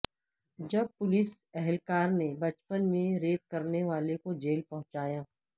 جب پولیس اہلکار نے بچپن میں ریپ کرنے والے کو جیل پہنچایا